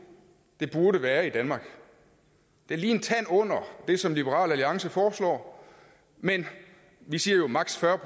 det burde være i danmark det er lige en tand under det som liberal alliance foreslår vi siger jo maksimum